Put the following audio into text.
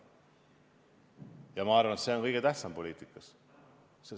Ja ma arvan, et see on kõige tähtsam poliitikas.